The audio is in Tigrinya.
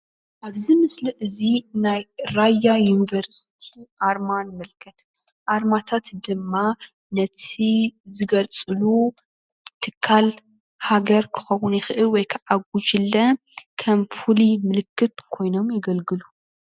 ኣብዚ ምስሊ እዚ ናይ ራያ ዩኒቨርሲቲ ኣርማ ንምልከት ኣርማታት ድማ ነቲ ዝገልፁሉ ትካል ሃገር ክኸዉን ይኽእል ወይ ከዓ ጉጅለ ከም ፉሉይ ምልክት ኮይኖም የገልግሉ።